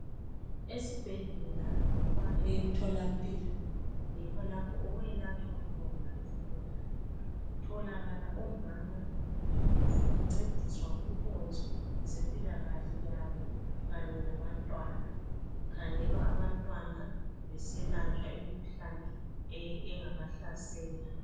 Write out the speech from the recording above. Esibhedlela loba emtholampilo yikho lapho okwelatshwa khona izigulane. Kutholakala omama bencediswa kunkonzo zempilakahle yabo Kanye labantwana . Kukhangelwa abantwana beselatshwa imikhuhlane engabahlasela.